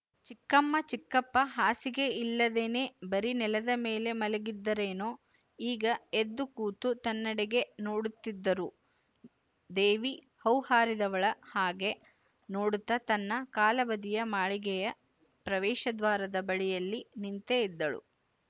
ಚಿಕ್ಕಮ್ಮ ಚಿಕ್ಕಪ್ಪ ಹಾಸಿಗೆ ಇಲ್ಲದೇನೆ ಬರಿ ನೆಲದ ಮೇಲೆ ಮಲಗಿದ್ದರೇನೋ ಈಗ ಎದ್ದು ಕೂತು ತನ್ನೆಡೆಗೆ ನೋಡುತ್ತಿದ್ದರು ದೇವಿ ಹೌಹಾರಿದವಳ ಹಾಗೆ ನೋಡುತ್ತ ತನ್ನ ಕಾಲಬದಿಯ ಮಾಳಿಗೆಯ ಪ್ರವೇಶದ್ವಾರದ ಬಳಿಯಲ್ಲಿ ನಿಂತೇ ಇದ್ದಳು